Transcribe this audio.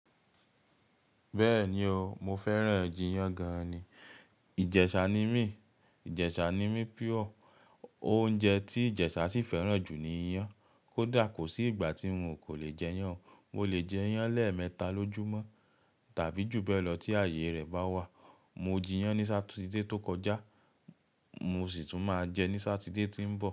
Bẹ́ẹ̀ni o, mo fẹ́ràn jíyán gan-an ni. Ìjẹ̀ṣà ni mí, Ìjẹ̀ṣà ni mi pure. Oúnjẹ tí Ìjẹ̀ṣà sì fẹ́ràn jù ni ìyàn. Kódà kò sí ìgbà tí n kò lè jẹ iyán. Mo lè jẹ iyán lẹ́ẹ̀mẹta lójúmọ́ tàbí jù bẹ́ẹ̀ lọ tí ààyè rẹ̀ bá wà. Mo jíyàn ní Sátidé tó kọjá, mo sì tún máa jẹ ní Sátidé tí ń bọ̀.